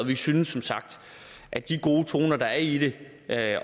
vi synes som sagt at de gode toner der er i det